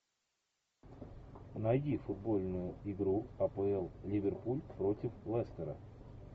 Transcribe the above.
найди футбольную игру апл ливерпуль против лестера